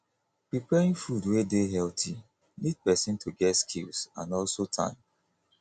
preparing food wey dey healthy need person to get skills and also time